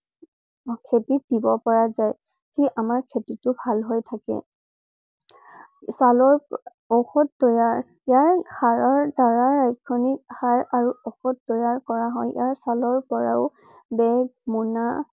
খেতিত দিব পৰা জাই। যি আমাৰ খেটিটো ভাল হৈ থাকে। ছালৰ ঔষধ তৈয়াৰ~ইয়াৰ সাৰৰ দ্বাৰা এখনি সাৰ আৰু ঔষধ তৈয়াৰ কৰা হয়। ইয়াৰ ছালৰ পৰা ও বেগ, মুনা